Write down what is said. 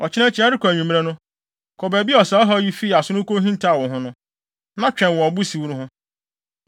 Ɔkyena akyi, ɛrekɔ anwummere no, kɔ baabi a saa ɔhaw yi fii ase no wukohintaw wo ho no, na twɛn wɔ ɔbo siw no ho.